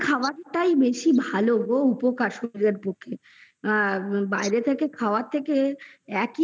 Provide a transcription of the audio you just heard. দেখো বাড়ির খাবার তাই বেশি ভালো গো উপকারী শরীরের পক্ষে আর বাইরে থেকে খাবার থেকে